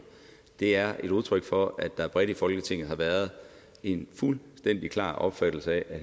er et udtryk for at der bredt i folketinget har været en fuldstændig klar opfattelse af at